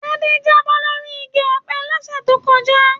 Tade jábọ́ lórí igi ọpẹ l'ọsẹ to kọjá.